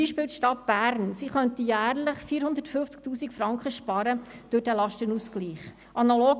Beispielsweise könnte die Stadt Bern durch den Lastenausgleich jährlich 450 000 Franken sparen.